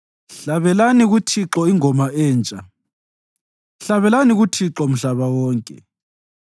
Hlabelani kuThixo ingoma entsha; hlabelani kuThixo mhlaba wonke.